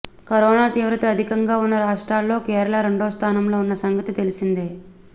corona తీవ్రత అధికంగా ఉన్న రాష్ట్రాల్లో కేరళ రెండోస్థానంలో ఉన్న సంగతి తెలిసిందే